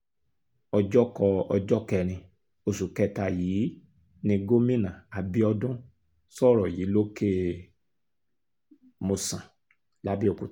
ọjọ́kọ ọjọ́ kẹrin oṣù kẹta yìí ni gómìnà abiodun sọ̀rọ̀ yìí lòkè-mòsàn labẹ́ọ́kútà